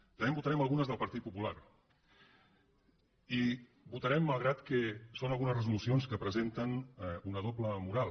també en votarem algunes del partit popular i les votarem malgrat que són algunes resolucions que presenten una doble moral